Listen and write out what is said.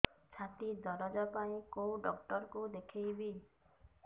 ଛାତି ଦରଜ ପାଇଁ କୋଉ ଡକ୍ଟର କୁ ଦେଖେଇବି